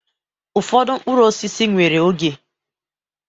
Ụfọdụ mkpụrụ osisi nwere oge.